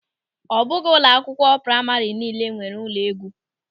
Ọ bụghị ụlọ akwụkwọ praịma niile nwere ụlọ égwú.